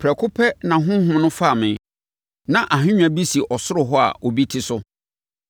Prɛko pɛ, na Honhom no faa me. Na ahennwa bi si ɔsoro hɔ a obi te so.